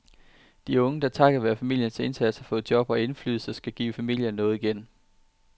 De unge, der takket være familiens indsats har fået job og indflydelse, skal give familien noget igen.